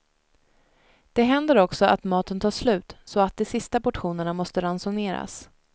Det händer också att maten tar slut så att de sista portionerna måste ransoneras.